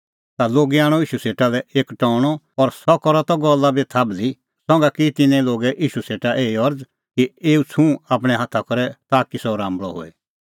ता लोगै आणअ ईशू सेटा लै एक टौणअ और सह करा त गल्ला बी थाभल़ी संघा की तिन्नैं लोगै ईशू सेटा एही अरज़ कि एऊ छ़ुंह आपणैं हाथा करै